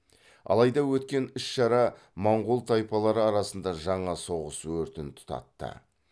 алайда өткен іс шара монғол тайпалары арасында жаңа соғыс өртін тұтатты